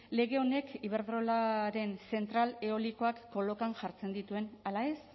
lege honek iberdrolaren zentral eolikoak kolokan jartzen dituen ala ez